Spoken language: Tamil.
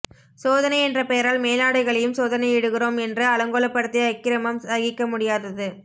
சோதனை என்ற பெயரால் மேலாடைகளையும் சோதனையிடுகிறோம் என்று அலங்கோலப்படுத்திய அக்கிரமம் சகிக்க முடியாதது